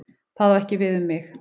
Það á ekki við um mig.